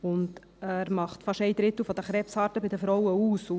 Er macht fast einen Drittel der Krebsarten bei den Frauen aus.